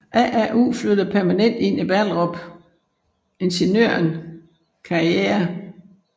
AAU flytter permanent ind i Ballerup Ingeniøren Karriere